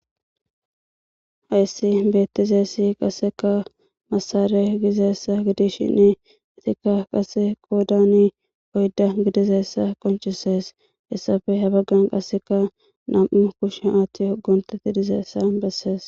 Hayssi beettizessi qaseka masare gizeessa gidishini itikka qase qoodani oyda gidizeessa qoncisees hessafe habaggan qaseka nam'u kushen aaththi hogontetti dizeessa bessees.